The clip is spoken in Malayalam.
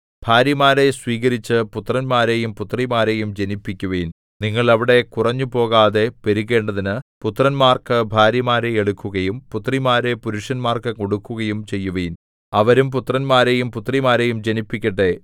ഭാര്യമാരെ സ്വീകരിച്ച് പുത്രന്മാരെയും പുത്രിമാരെയും ജനിപ്പിക്കുവിൻ നിങ്ങൾ അവിടെ കുറഞ്ഞുപോകാതെ പെരുകേണ്ടതിന് പുത്രന്മാർക്കു ഭാര്യമാരെ എടുക്കുകയും പുത്രിമാരെ പുരുഷന്മാർക്കു കൊടുക്കുകയും ചെയ്യുവിൻ അവരും പുത്രന്മാരെയും പുത്രിമാരെയും ജനിപ്പിക്കട്ടെ